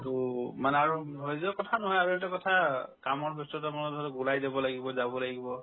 উম উম মানে আৰু ধৈৰ্য্যৰ কথা নহয় আৰু এইটো কথা কামৰ ব্যস্ততাৰ মাজতো ওলাই যাব লাগিব যাব লাগিব